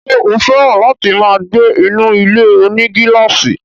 Ṣé ó fẹ́ràn láti máa gbé inú ilé-onígílàsì?